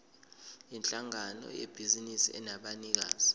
yinhlangano yebhizinisi enabanikazi